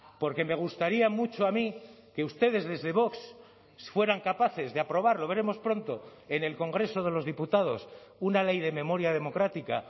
porque me gustaría mucho a mí que ustedes desde vox fueran capaces de aprobar lo veremos pronto en el congreso de los diputados una ley de memoria democrática